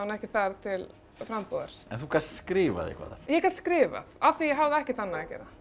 ekki þar til frambúðar en þú gast skrifað eitthvað þar ég gat skrifað af því ég hafði ekkert annað að gera